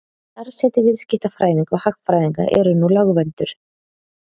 starfsheiti viðskiptafræðinga og hagfræðinga eru nú lögvernduð